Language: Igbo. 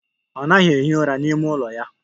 Ọ naghị ehi ụra n'ime ụlọ ya.